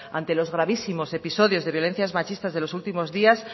ante los gravísimos episodios de violencias machistas de los últimos días